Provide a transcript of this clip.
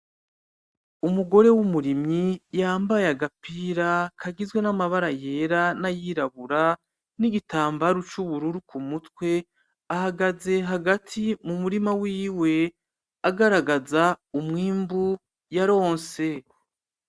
Umugore w'umurimyi yambaye agapira kagizwe n'amabara yera, n'ayirabura, nigitambaru c'ubururu ku mutwe ahagaze hagati mu murima wiwe agaragaza umwimbu yaronse.